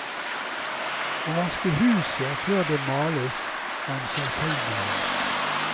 Å vaske huset før det males er en selvfølgelighet.